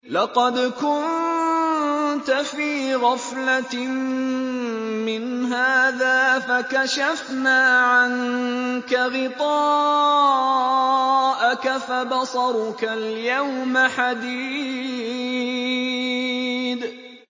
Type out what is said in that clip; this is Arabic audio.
لَّقَدْ كُنتَ فِي غَفْلَةٍ مِّنْ هَٰذَا فَكَشَفْنَا عَنكَ غِطَاءَكَ فَبَصَرُكَ الْيَوْمَ حَدِيدٌ